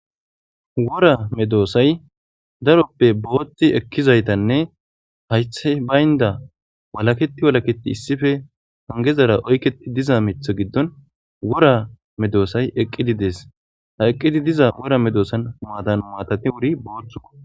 wora medoosay daroppe booththi ekkizaytanne haythe baynda walaketi walaketi issife hangezara oykketi diza mith giddon wora medoosay eqqidi dees ha eqqidi diza wora medoosan huadan maatati wuri booththuo